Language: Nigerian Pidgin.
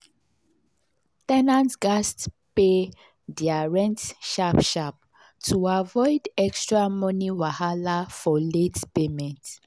ten ants gatz pay their rent sharp sharp to avoid extra money wahala for late payment.